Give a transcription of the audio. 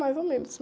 Mais ou menos.